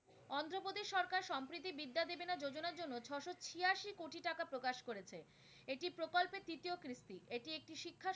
প্রকাশ করেছে। এটি প্রকল্পের তৃতীয় এটি একটি শিক্ষা